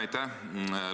Aitäh!